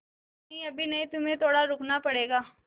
अभी नहीं अभी नहीं तुम्हें थोड़ा रुकना पड़ेगा